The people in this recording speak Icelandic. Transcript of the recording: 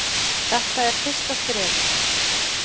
Þetta er fyrsta skrefið.